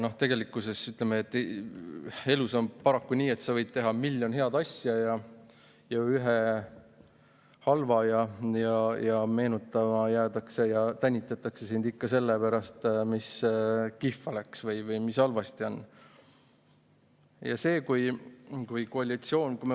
Ja tegelikkuses, ütleme, elus on paraku nii, et sa võid teha miljon head asja ja ühe halva, aga meenutama jäädakse seda ja tänitatakse sind ikka selle pärast, mis kihva läks või mis halvasti oli.